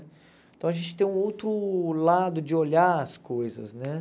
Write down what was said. Então a gente tem um outro lado de olhar as coisas, né?